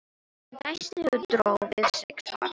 Hann dæsti og dró við sig svarið.